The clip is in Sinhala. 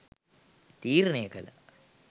තීරණය කළා.